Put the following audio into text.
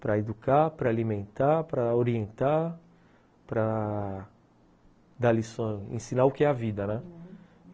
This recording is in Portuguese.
para educar, para alimentar, para orientar, para dar li ensinar o que é a vida, né? Uhum.